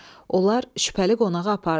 Onlar şübhəli qonağı apardılar.